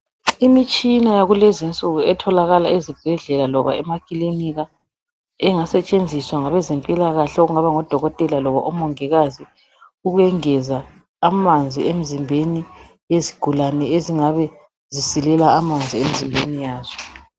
Imitshina yakulezinsuku etholakala ezibhedlela loba emakilinika. Ingasetshenziswa ngabezimpilakahle okungaba ngodokotela loba umongikazi ukuyengeza amanzi emzimbeni yezigulane ezingabe zisilela amanzi emzimbeni yazo.